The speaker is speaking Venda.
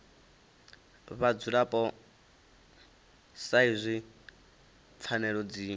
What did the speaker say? vhadzulapo sa izwi pfanelo dzi